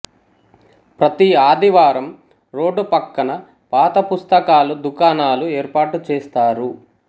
ప్రతి ఆదివారం రోడ్డు పక్కన పాత పుస్తకాలు దుకాణాలు ఏర్పాటుచేస్తారు